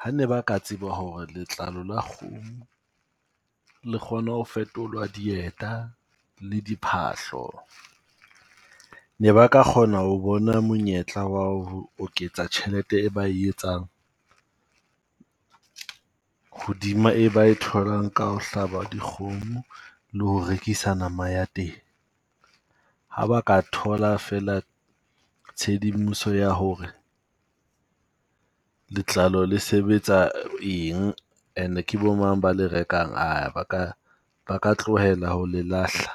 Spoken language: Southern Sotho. Ha ne ba ka tseba ho re letlalo la kgomo le kgona ho fetolwa dieta le diphahlo, ne ba ka kgona ho bona monyetla wa ho oketsa tjhelete e ba e etsang hoduma e ba e tholang ka ho hlaba dikgomo le ho rekisa nama ya teng. Ha ba ka thola feela tshedimoso ya ho re letlalo le sebetsa eng ene ke bo mang ba le rekang ba ka, ba ka tlohela ho le lahla.